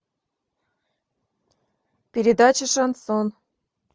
передача шансон